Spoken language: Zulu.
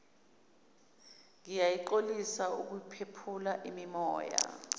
ngiyaxolisa ukunephula imimoya